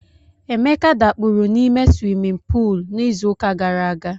Emeka dakpuru n'ime swimin puul n'izuụka gara aga.